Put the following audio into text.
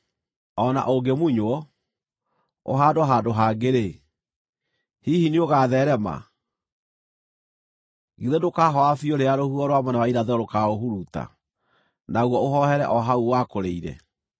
O na ũngĩmunywo, ũhaandwo handũ hangĩ-rĩ, hihi nĩũgatheerema? Githĩ ndũkahooha biũ rĩrĩa rũhuho rwa mwena wa irathĩro rũkaũhuruta, naguo ũhoohere o hau wakũrĩire?’ ”